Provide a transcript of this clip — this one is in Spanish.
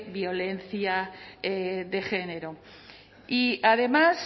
violencia de género y además